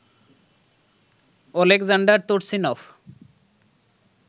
Oleksandr Turchynov